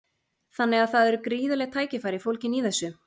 Þannig að það eru gríðarleg tækifæri fólgin í þessu?